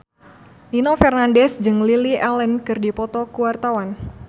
Nino Fernandez jeung Lily Allen keur dipoto ku wartawan